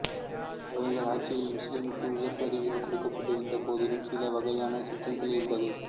இவர்கள் ஆட்சியில் முசுலிம்களுக்கு உயர் பதவிகள் கொடுக்கப்பட்டிருந்த போதிலும் சில வகையான சிக்கல்கள் இருந்தது